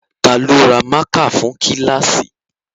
Ta ló ra mákà fún kíláàsì?